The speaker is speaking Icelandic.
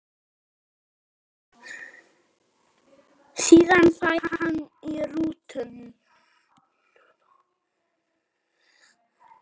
Síðan færi hann í rútuna.